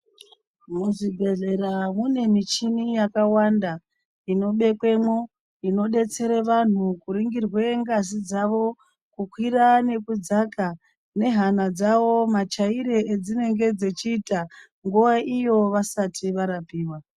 Muzvibhedhlera mune michini yakawanda inobekwemwo inodetsere vanhu kuringirwe ngazi dzavo kukwira nekudzaka nehana dzavo machaire edzinenge dzechiita nguwa iyo vasati varapiwa.